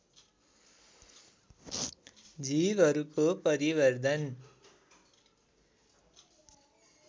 जीवहरूको परिवर्धन